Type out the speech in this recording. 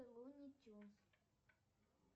луни тюнз